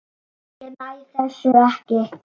Ég næ þessu ekki.